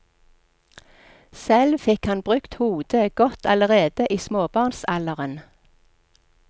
Selv fikk han brukt hodet godt allerede i småbarnsalderen.